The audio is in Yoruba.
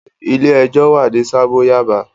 Ilé ẹjọ́ wà ní Sábò Yàbá.